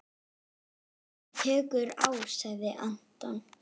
Þetta tekur á sagði Anton.